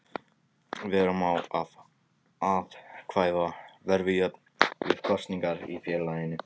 Vera má að atkvæði verði jöfn við kosningar í félaginu.